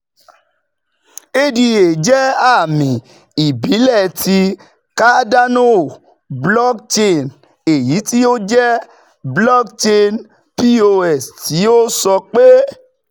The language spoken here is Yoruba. ADA jẹ àmì ìbílẹ̀ ti Cardano Blockchain, eyiti o jẹ blockchain PoS ti o sọ pe